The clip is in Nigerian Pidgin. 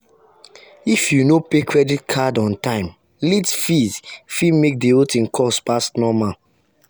if you no pay credit card on on time late fee fit make the whole thing cost pass normal.